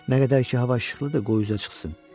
Nə qədər ki hava işıqlıdır, qoy üzə çıxsın.